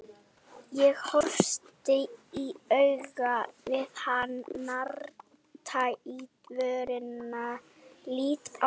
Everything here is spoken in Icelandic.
Ég horfist í augu við hann, narta í vörina, lít á Helga.